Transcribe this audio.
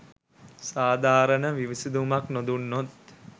සාධාරණ විසඳුමක් නොදුන්නොත්